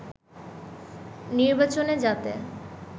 নির্বাচনে যাতে